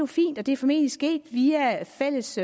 fint og det er formentlig sket via fælles